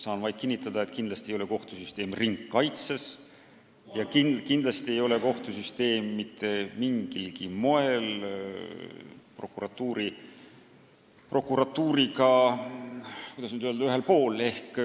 Saan vaid kinnitada, et kindlasti ei ole kohtusüsteem ringkaitses ja kindlasti ei ole kohtusüsteem mitte mingilgi moel prokuratuuriga, kuidas nüüd öelda, ühel pool.